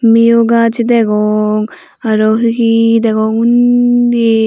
mio gaz degong araw hi hi degong undi.